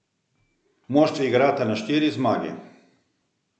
Moštvi igrata na štiri zmage.